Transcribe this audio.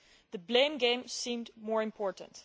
The blame game seemed more important.